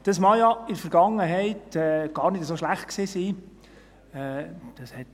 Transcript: Dies mag ja in der Vergangenheit gar nicht so schlecht gewesen sein.